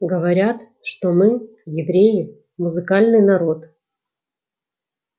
говорят что мы евреи музыкальный народ